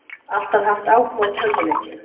Alltaf haft áhuga á tölvuleikjum